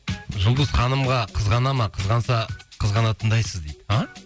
жұлдыз ханымға қызғана ма қызғанса қызғанатындайсыз дейді а